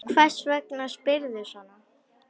Hvers vegna spyrðu svona?